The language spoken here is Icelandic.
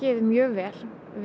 mjög vel við